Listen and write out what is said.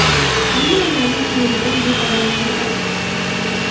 Ammo ularning kimligidan bexabarligini aytdi.